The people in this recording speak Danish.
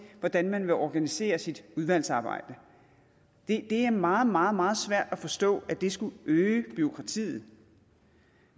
hvordan man vil organisere sit udvalgsarbejde det er meget meget meget svært at forstå at det skulle øge bureaukratiet